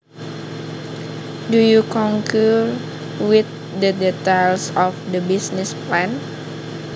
Do you concur with the details of the business plan